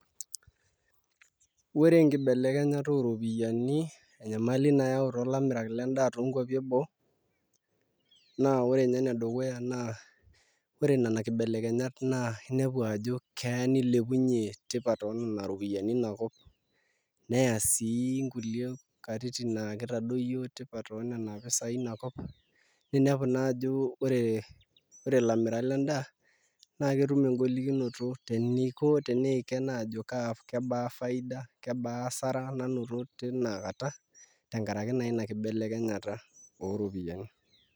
Ore enkibelekenytata ooropiyiani enyamali nayau toolamirak lendaa toonkuapi eboo naa ore ninye enedukuya naa ore nena kibelekenyat naa inepu ajo keya nilepunyie tipat oonena ropiyiani inakop neya sii nkulie katitin naa kitadoyio tipat oonena pisaai inakop ninepu naa ajo ore ilamirak lendaa naa ketum engolikinoto teniiken aajo kaa, kebaa faida ,kebaa asara nanoto tina kata tenkaraki naa ina kibelekenyata oropiyiani.